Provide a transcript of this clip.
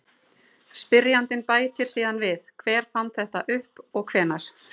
Spyrjandi bætir síðan við: Hver fann þetta upp og hvenær?